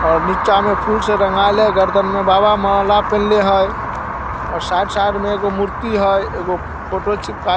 और नीचा मे फूल से रंगाइल हेय गर्दन मे बाबा माला पिनहले हेय और साइड साइड में एगो मूर्ति हेय एगो फोटो चिपकाय --